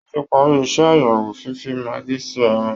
Wọ́n ti parí iṣẹ́ àyẹ̀wò fífi maggi sí ẹran